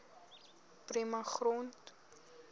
prima grond